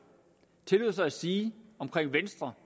tillod sig at sige om venstre